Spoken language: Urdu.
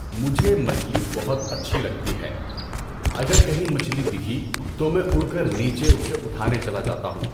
مجھے مچھلی بہت اچھی لگتی ہے، اگر کہیں مچھلی دکھی تو میں اُڑ کر نیچے اُسے اُٹھانے چلا جاتا ہوں۔